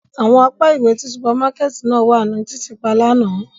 Awọn apa iwe ti supamakẹti náa wa ni titiipa làná.